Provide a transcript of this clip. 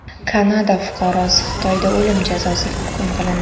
Kanada fuqarosi Xitoyda o‘lim jazosiga hukm qilindi.